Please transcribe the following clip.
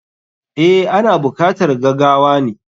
Eh, ana bukatar gagawane.